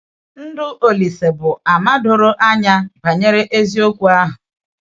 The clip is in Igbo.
Ndụ Ȯlísè bụ um àmà doro um anya banyere eziokwu ahụ.